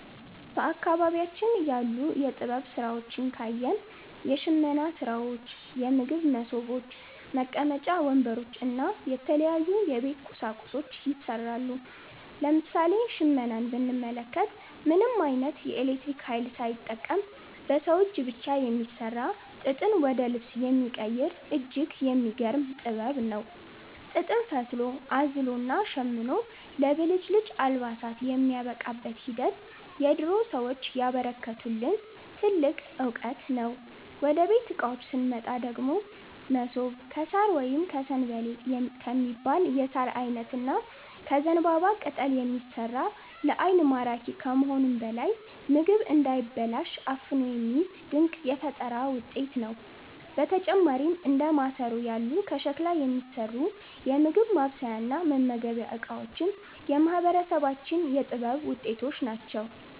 በአካባቢያችን ያሉ የጥበብ ሥራዎችን ካየን፣ የሽመና ሥራዎች፣ የምግብ መሶቦች፣ መቀመጫ ወንበሮች እና የተለያዩ የቤት ቁሳቁሶች ይሠራሉ። ለምሳሌ ሽመናን ብንመለከት፣ ምንም ዓይነት የኤሌክትሪክ ኃይል ሳይጠቀም በሰው እጅ ብቻ የሚሠራ፣ ጥጥን ወደ ልብስ የሚቀይር እጅግ የሚገርም ጥበብ ነው። ጥጥን ፈትሎ፣ አዝሎና ሸምኖ ለብልጭልጭ አልባሳት የሚያበቃበት ሂደት የድሮ ሰዎች ያበረከቱልን ትልቅ ዕውቀት ነው። ወደ ቤት ዕቃዎች ስንመጣ ደግሞ፣ መሶብ ከሣር ወይም 'ሰንበሌጥ' ከሚባል የሣር ዓይነት እና ከዘንባባ ቅጠል የሚሠራ፣ ለዓይን ማራኪ ከመሆኑም በላይ ምግብ እንዳይበላሽ አፍኖ የሚይዝ ድንቅ የፈጠራ ውጤት ነው። በተጨማሪም እንደ ማሰሮ ያሉ ከሸክላ የሚሠሩ የምግብ ማብሰያና መመገቢያ ዕቃዎችም የማህበረሰባችን የጥበብ ውጤቶች ናቸው።